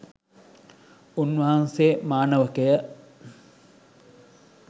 උන්වහන්සේ, මානවකය,